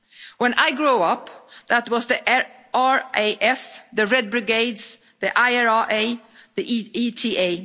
one. When I grew up, there was the RAF, the Red Brigades, the IRA,